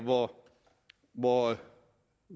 hvor